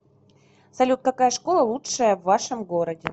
салют какая школа лучшая в вашем городе